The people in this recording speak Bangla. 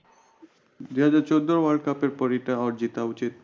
দুই হাজার চোদ্দো world cup এরপর জেতা উচিত